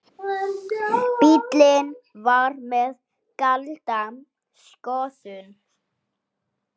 Bíllinn var með gilda skoðun.